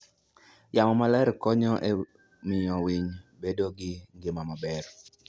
Yamo maler konyo e miyo winy bedo gi ngima maber.